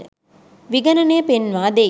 විගණනය පෙන්වා දෙයි